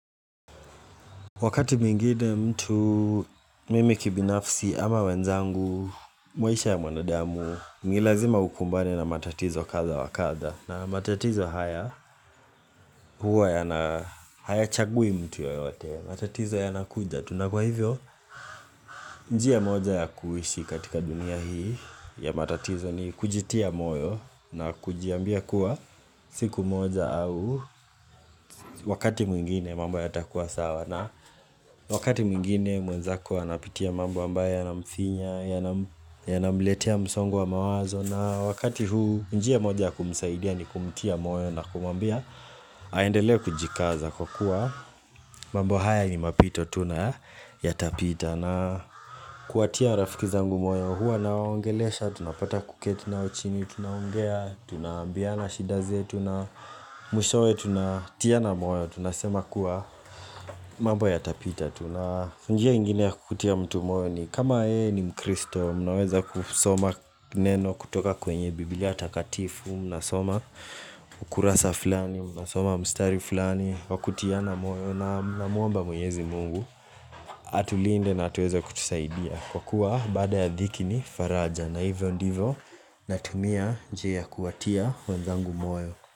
Wakati mwingine mtu mimi kibinafsi ama wenzangu, maisha ya mwanadamu, ni lazima ukumbane na matatizo kadha wakadha. Na matatizo haya huwa yana haya chagui mtu yoyote, matatizo yanakuja. Tu na kwa hivyo, njia moja ya kuishi katika dunia hii ya matatizo ni kujitia moyo na kujiambia kuwa siku moja au wakati mwingine mambo yatakua sawa. Wakati mwingine mwenzako anapitia mambo ambayo yanamfinya, yanamletea msongo wa mawazo na wakati huu njia moja ya kumusaidia ni kumtia moyo na kumwambia Aendelee kujikaza kwa kuwa mambo haya ni mapito tu na yatapita na kuwatia rafiki zangu moyo huwa nawaongelesha, tunapata kuketi nao chini, tunaongea, tunambiana shida zetu na mwishowe, tuna tiana moyo tunasema kuwa mambo yatapita Tuna njia ingine ya kukutia mtu moyo ni kama yeye ni mkristo Mnaweza kusoma neno kutoka kwenye biblia takatifu, mnasoma ukurasa fulani Mnasoma mstari fulani Wakutiana moyo na muomba mwenyezi mungu Atulinde na ataweeza kutusaidia Kwa kuwa baada ya dhiki ni faraja na hivyo ndivyo natumia njia kuwatia wenzangu moyo.